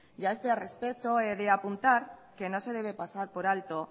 y a este respecto he de apuntar que no se debe pasar por alto